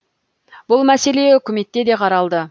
бұл мәселе үкіметте де қаралды